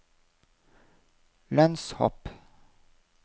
lønnshopp